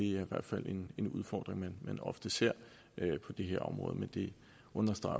i hvert fald en en udfordring man ofte ser på det her område men det understreger